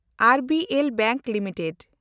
ᱮᱱᱰᱵᱤᱮᱞ bank limited